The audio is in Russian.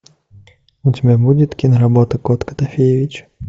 у тебя будет киноработа кот котофеевич